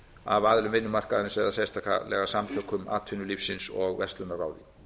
af aðilum vinnumarkaðarins eða sérstaklega samtökum atvinnulífsins og verslunarráði